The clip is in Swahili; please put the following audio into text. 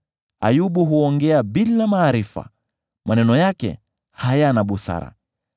‘Ayubu huongea bila maarifa; maneno yake hayana busara.’